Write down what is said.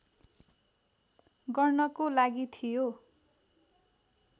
गर्नको लागि थियो